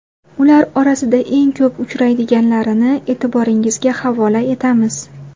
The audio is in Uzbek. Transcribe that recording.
Ular orasida eng ko‘p uchraydiganlarini e’tiboringizga havola etamiz.